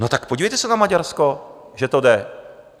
No tak podívejte se na Maďarsko, že to jde!